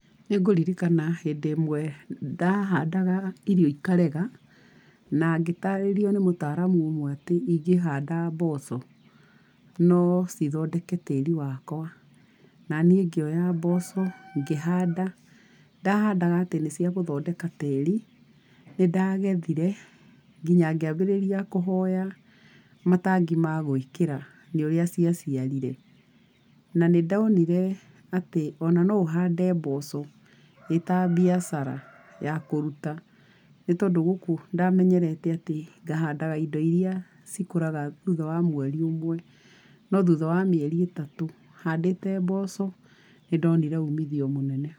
Nĩngũririkana hĩndĩ ĩmwe ndahandaga irio ikarega, na ngĩtarĩrio nĩ mũtaramu ũmwe atĩ ingĩhanda mboco, no cithondeke tĩri wakwa, na nĩi ngĩoya mboco ngihanda, Ndahandaga atĩ nĩ ciagũthondeka tĩri, nĩndagethire nginya ngĩambĩrĩria kũhoya matangi ma gwĩkĩra nĩũrĩa cia ciarire. Na nĩndonire atĩ ona no ũhande mboco ĩta mbiacara ya kũruta, nĩtondũ gũkũ ndamenyerete atĩ, ngahandaga indo iria cikũraga thutha wa mweri ũmwe, no thutha wa mĩeri itatũ, handĩte mboco nĩndonire ũmithio mũnene.